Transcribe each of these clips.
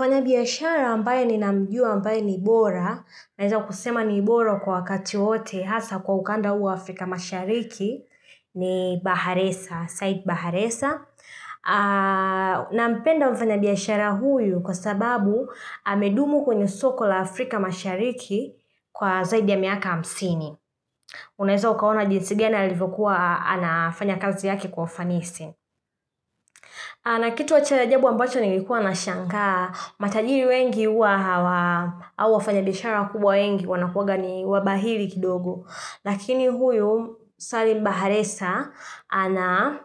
Mfanyabiashara ambaye ninamjua ambaye ni bora. Naweza kusema ni bora kwa wakati wowote hasa kwa ukanda huu Afrika mashariki ni Baharesa, Said Baharesa. Nampenda mfanyabiashara huyu kwa sababu amedumu kwenye soko la Afrika mashariki kwa zaidi ya miaka hamsini. Unaweza ukaona jinsi gani alivyokuwa anafanya kazi yake kwa ufanisi. Na kitu cha ajabu ambacho nilikuwa na shangaa, matajiri wengi huwa hawa au wafanyabishara wakubwa wengi wanakuwaga ni wabahili kidogo. Lakini huyu, Said Baharesa, ana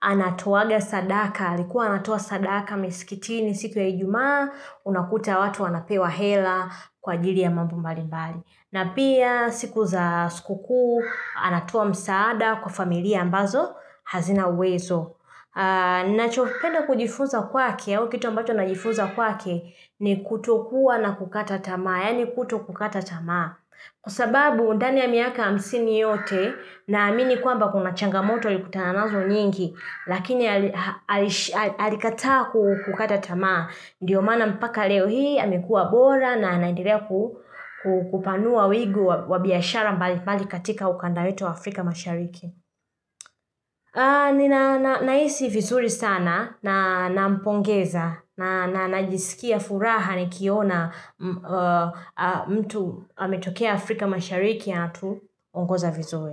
anatoaga sadaka, alikuwa anatoa sadaka misikitini siku ya ijumaa, unakuta watu wanapewa hela kwa ajili ya mambo mbali mbali. Na pia siku za sikukuu, anatoa msaada kwa familia ambazo hazina uwezo. Ninachopenda kujifunza kwake, au kitu ambacho najifunza kwake, ni kutokuwa na kukata tamaa, yaani kutokukata tamaa. Kwasababu ndani ya miaka hamsini yote naamini kwamba kuna changamoto alikutana nazo nyingi, lakini ali alish ali alikataa kukata tamaa. Ndio maana mpaka leo hii, amekuwa bora na anaendelea ku ku kupanua wigu wa wa biashara mbalimbali katika ukanda wetu wa Afrika mashariki. Nina na nahisi vizuri sana na nampongeza na na najisikia furaha nikiona mtu ametokea Afrika mashariki anatuongoza vizuri.